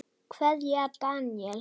Kveðja, Daníel.